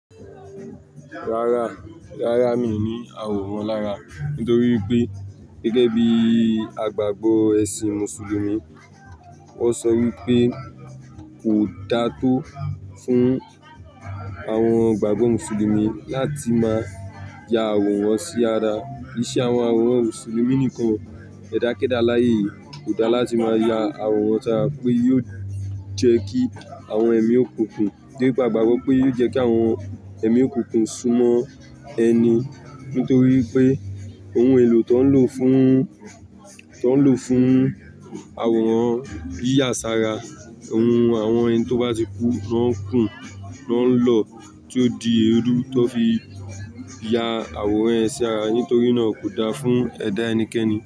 Rárá, rárá mi ò ní àwòrán lára. Nítorí pé gẹ́gẹ́ bí àgbàgbọ ẹṣin Mùsùlùmí, wọ́n sọ wípé kò dáá tó fún àwọn gbàgbọ́ Mùsùlùmí láti máa ya àwòrán sí ara. Kì í ṣe àwọn àwòrán Mùsùlùmí nìkan, ẹ̀dá kéda láyé kò dáá láti máa ya àwòrán táa pé yóò jẹ́ kí àwọn ẹ̀mí òkùnkùn, gẹ́gẹ́ bí àgbàgbọ pé yóò jẹ́ kí àwọn ẹ̀mí òkùnkùn sún mọ́ ẹni. Nítorí pé ohun èlò tó ń lò fún, tó ń lò fún àwòrán bí àsára, ohun àwọn ẹni tó bá ti kú ló ń kùn ló ń lò tí ó di eérú tó fi ya àwòrán ẹ sí ara. Nítorí náà kò dára fún ẹ̀dá ẹnikẹ́ni.